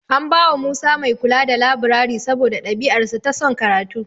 An bawa Musa ɗalibi mai kula da labirari saboda ɗabi'arsa ta son karatu.